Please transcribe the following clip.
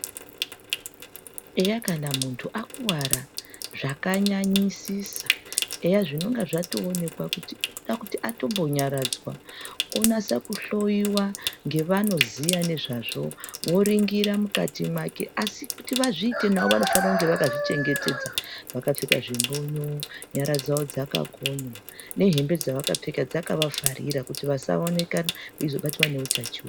Eya kana mundu akuwara zvakanyanyisisa eya zvinenge zvatomboonekwa kuti anoda kunyaradzwa onyasa kuhloiwa ndevanoziva nezvazvo oningira mukati make asi kuti zviite navo vanofana kuva vakazvichengetedza vakapfeka zvimbonyo nyara dzavo dzakakonywa nehembe dzavakapfeka dzakavavharira kuti vasaonekwa vachozobatwa neutachiona.